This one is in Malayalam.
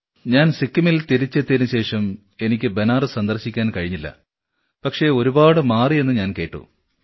ഞാൻ സിക്കിമിൽ എത്തിയതിന് ശേഷം എനിക്ക് ബനാറസ് സന്ദർശിക്കാൻ കഴിഞ്ഞില്ല പക്ഷേ ഒരുപാട് മാറിയെന്ന് ഞാൻ കേട്ടു